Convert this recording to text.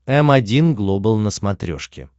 м один глобал на смотрешке